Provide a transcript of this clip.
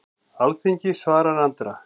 Alþingi svarar Andra